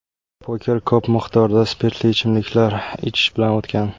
Poker ko‘p miqdorda spirtli ichimliklar ichish bilan o‘tgan.